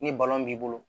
Ni b'i bolo